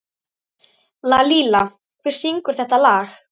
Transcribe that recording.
Lalíla, hver syngur þetta lag?